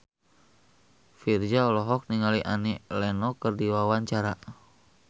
Virzha olohok ningali Annie Lenox keur diwawancara